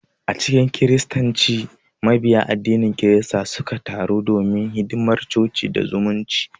A cikin Kiristanci, Mabiya addinin kirista sukan taru don hidimar coci da zumunci.